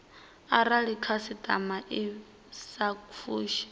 arali khasitama i sa fushi